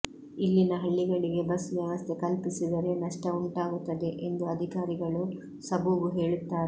ಇಲ್ಲಿನ ಹಳ್ಳಿಗಳಿಗೆ ಬಸ್ ವ್ಯವಸ್ಥೆ ಕಲ್ಪಿಸಿದರೆ ನಷ್ಟ ಉಂಟಾಗುತ್ತದೆ ಎಂದು ಅಧಿಕಾರಿಗಳು ಸಬೂಬು ಹೇಳುತ್ತಾರೆ